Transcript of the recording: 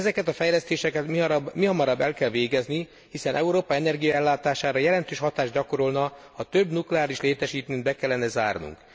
Ezeket a fejlesztéseket mihamarabb el kell végezni, hiszen Európa energiaellátására jelentős hatást gyakorolna, ha több nukleáris létesítményt be kellene zárnunk.